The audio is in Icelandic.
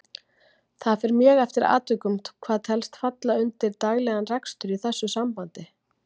Það fer mjög eftir atvikum hvað telst falla undir daglegan rekstur í þessu sambandi.